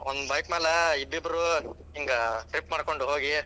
ಒಂದ್ bike ಮ್ಯಾಲ ಇಬ್ಬಿಬ್ರು ಹಿಂಗ trip ಮಾಡ್ಕೊಂಡ್ ಹೋಗಿ.